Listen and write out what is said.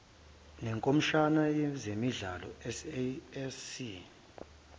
nekhomishani yezemidlalo sasc